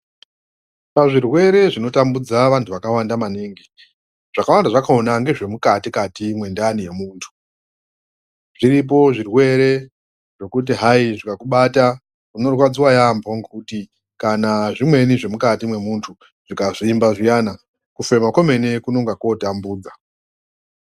Pazvirwere zvinotambudza vantu vakawanda maningi. Zvakawanda zvakona ngezvemukati-kati mwendani yemuntu. Zviripo zvirwere zvekuti hai zvikakubata unorwadziva yaambo, ngekuti kana zvimweni zvemukati mwemuntu zvikazvimba zviyana kufema kwemene kunongako tambudza.